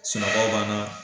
Sunɔkɔ b'an na.